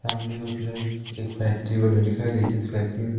family को एक factory बनी दिखाई दे जीस फैक्ट्री --